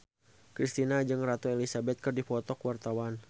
Kristina jeung Ratu Elizabeth keur dipoto ku wartawan